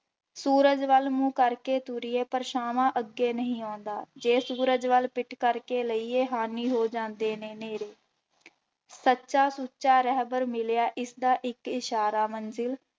ਸੂਰਜ ਵੱਲ ਮੂੰਹ ਕਰਕੇ ਤੁਰੀਏ ਪਰਛਾਵਾਂ ਅੱਗੇ ਨਹੀਂ ਆਉਂਦਾ, ਜੇ ਸੂਰਜ ਵੱਲ ਪਿੱਠ ਕਰਕੇ ਲਈਏ ਹਾਨੀ ਹੋ ਜਾਂਦੇ ਨੇ ਨੇਰੇ ਸੱਚਾ ਸੁੱਚਾ ਰਹਿਬਰ ਮਿਲਿਆ ਇਸਦਾ ਇੱਕ ਇਛਾਰਾ ਮੰਜਿਲ,